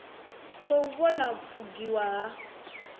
khou vhona u pfukiwa ha